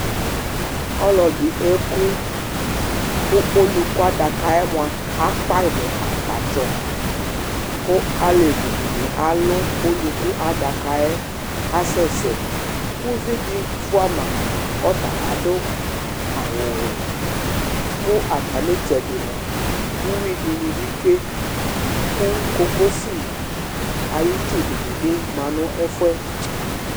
Ɔlʋ ɛdi ekʋ kʋ akpa ɔluku adaka yɛ mʋ akpatsɔ kʋ alevi dini alʋ ɔluku adaka yɛ kʋ asɛsɛ ʋvidi fʋama kɔ ɔtz adʋ awʋwɛ kʋ atami itsɛdi mʋa uwui dini bi tsue kʋ kokosi ayʋ itsu dibi ma nʋ ɛfʋ yɛ